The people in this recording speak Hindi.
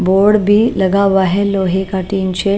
बोर्ड भी लगा हुआ है लोहे का टीन से--